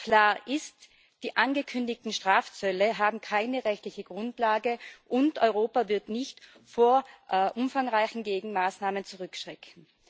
Klar ist Die angekündigten Strafzölle haben keine rechtliche Grundlage, und Europa wird nicht vor umfangreichen Gegenmaßnahmen zurückschrecken.